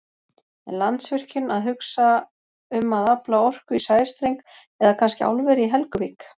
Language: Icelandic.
En Landsvirkjun að hugsa um að afla orku í sæstreng eða kannski álveri í Helguvík?